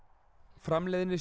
framleiðnisjóður